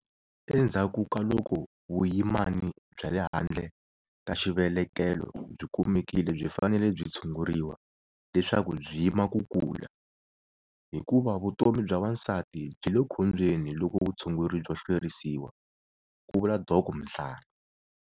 Endzhaku ka loko vuyimani bya le handle ka xivelelekelo byi kumekile byi fanele byi tshunguriwa leswaku byi yima ku kula, hikuva vutomi bya wansati byi le khombyeni loko vutshunguri byo hlwerisiwa, ku vula Dok Mhlari.